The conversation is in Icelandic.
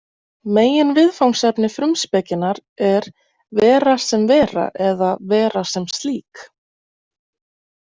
Meginviðfangsefni „Frumspekinnar“ er „vera sem vera“ eða „vera sem slík“.